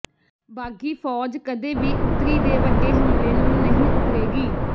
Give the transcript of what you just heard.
ਬਾਗ਼ੀ ਫ਼ੌਜ ਕਦੇ ਵੀ ਉੱਤਰੀ ਦੇ ਵੱਡੇ ਹਮਲੇ ਨੂੰ ਨਹੀਂ ਉਭਰੇਗੀ